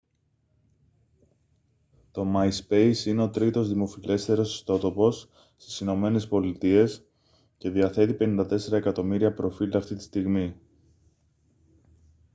το myspace είναι ο τρίτος δημοφιλέστερος ιστότοπος στις ηνωμένες πολιτείες και διαθέτει 54 εκατομμύρια προφίλ αυτή τη στιγμή